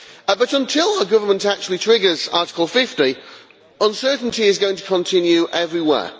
But until the Government actually triggers Article 50, uncertainty is going to continue everywhere.